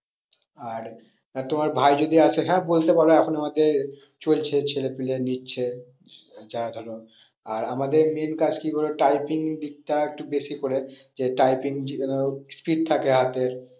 আর তোমার ভাই যদি আসে হ্যাঁ বলতে পারো এখন আমাদের চলছে ছেলে পেলে নিচ্ছে যারা ধরো, আর আমাদের main কাজটি হলো typing দিকটা একটু বেশি করে যে typing যেন speed থাকে হাতের